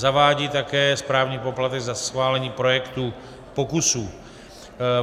Zavádí také správní poplatek za schválení projektu pokusů.